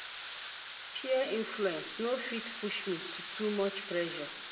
Peer influence no fit push me to too much pressure.